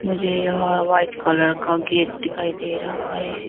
मुझे यहा white colour का गेट दिखाई दे रहा है।